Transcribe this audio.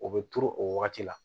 O bɛ turu o wagati la